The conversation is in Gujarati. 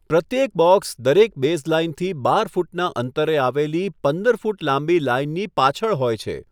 પ્રત્યેક બોક્સ દરેક બેઝલાઇનથી બાર ફૂટના અંતરે આવેલી પંદર ફૂટ લાંબી લાઇનની પાછળ હોય છે.